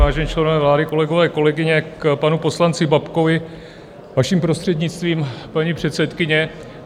Vážení členové vlády, kolegové, kolegyně, k panu poslanci Babkovi, vaším prostřednictvím, paní předsedkyně.